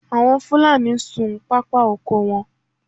Àwọn Fúlàní ń sun pápá oko wọn